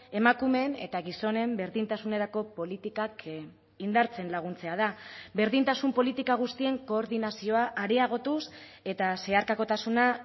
emakumeen eta gizonen berdintasunerako politikak indartzen laguntzea da berdintasun politika guztien koordinazioa areagotuz eta zeharkakotasuna